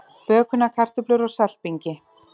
Bökunarkartöflur á saltbingi